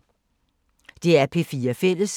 DR P4 Fælles